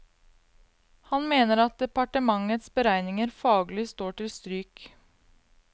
Han mener at departementets beregninger faglig står til stryk.